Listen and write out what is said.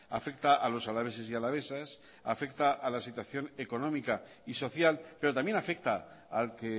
afecta a los alaveses y alavesas afecta a la situación económica y social pero también afecta al que